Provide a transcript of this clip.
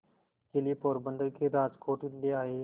के लिए पोरबंदर से राजकोट ले आए